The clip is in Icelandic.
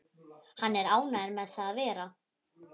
Hann er ánægður með það að vera